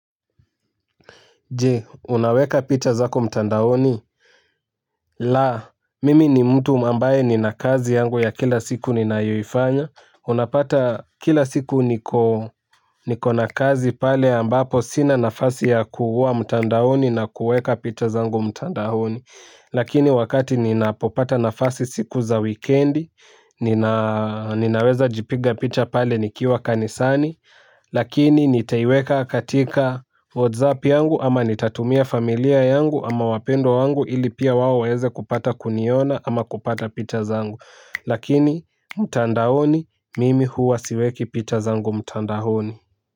Je, unaweka picha zako mtandaoni? La, mimi ni mtu ambaye nina kazi yangu ya kila siku ninayoifanya. Unapata kila siku nikona kazi pale ambapo sina nafasi ya kuwa mtandaoni na kueka picha zangu mtandaoni. Lakini wakati ninapopata nafasi siku za weekendi, ninaweza jipiga picha pale nikiwa kanisani. Lakini nitaiweka katika WhatsApp yangu ama nitatumia familia yangu ama wapendwa wangu ili pia wao waeze kupata kuniona ama kupata picha zangu. Lakini mtandaoni, mimi huwa siweki picha zangu mtandaoni.